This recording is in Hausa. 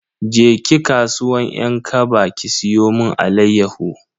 Je ki kasuwan 'yan kaba ki siyo mun alayyahu.